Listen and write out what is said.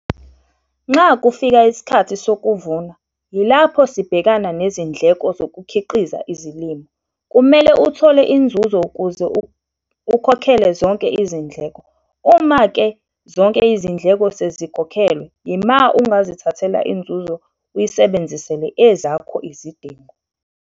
Nxa kufika isikhathi sokuvuna, yilapho sibhekana nezindleko zokukhiqiza izilimo - kumele uthole inzuzo ukuze ukhokhele zonke izindleko. Uma-ke zonke izindleko sezikhokhelwe yima ungazithathela inzuzo uyisebenzisele ezakho izidingo.